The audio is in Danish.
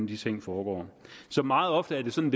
de ting foregår meget ofte er det sådan